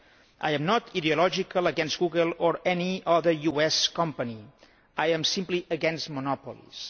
I am not ideological against Google or any other US company I am simply against monopolies.